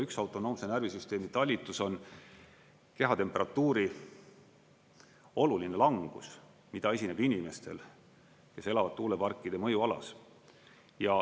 Üks autonoomse närvisüsteemi talitlus on kehatemperatuuri oluline langus, mida esineb inimestel, kes elavad tuuleparkide mõjualas.